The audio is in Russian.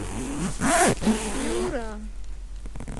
пьюра